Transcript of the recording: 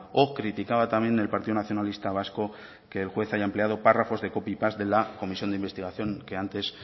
o criticaba también el partido nacionalista vasco que el juez haya empleado párrafos de copy paste de la comisión de investigación que antes